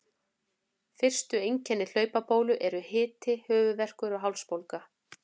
Fyrstu einkenni hlaupabólu eru hiti, höfuðverkur og hálsbólga.